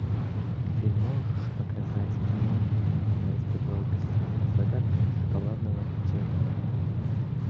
ты можешь показать кино она испекла убийство загадка шоколадного печенья